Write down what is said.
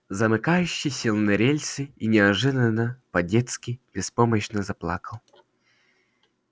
замыкающий сел на рельсы и неожиданно по-детски беспомощно заплакал